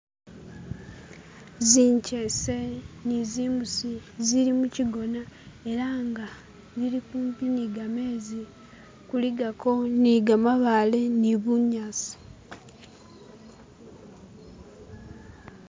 Zinkyese ni zimbusi zili mu shigona ela nga zili kumpi ni gamenzi kuligako ni gamabale ni bunyasi